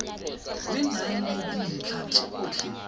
le nang le dintlha tsotlhe